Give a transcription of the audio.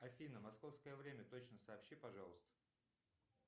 афина московское время точно сообщи пожалуйста